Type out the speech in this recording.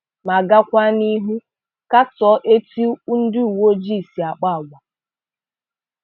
Ma gakwaa n'ihu katọọ etu ndi uweojii si àkpá àgwà.